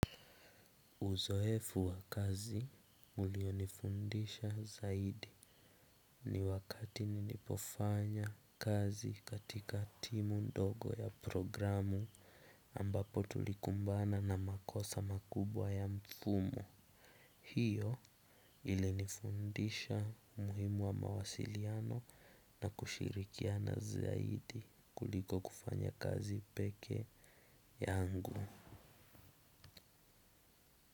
Uzoefu wa kazi ulio nifundisha zaidi ni wakati nili pofanya kazi katika timu ndogo ya programu ambapo tulikumbana na makosa makubwa ya mfumo hiyo ili nifundisha muhimu wa mawasiliano na kushirikiana zaidi kuliko kufanya kazi peke yangu.